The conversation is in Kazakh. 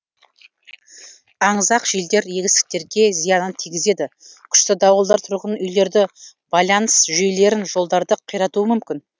аңызақ желдер егістіктерге зиянын тигізеді күшті дауылдар тұрғын үйлерді байланыс жүйелерін жолдарды қиратуы мүмкін